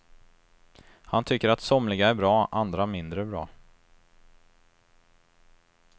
Han tycker att somliga är bra, andra mindre bra.